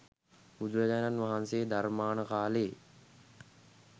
බුදුරජාණන් වහන්සේ ධර්මාන කාලෙ